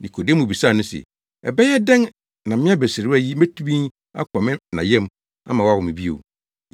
Nikodemo bisaa no se, “Ɛbɛyɛ dɛn na me abasiriwa yi betumi akɔ me na yam ama wawo me bio?”